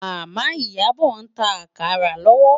Mama Iyabo n tá àkárá lòwò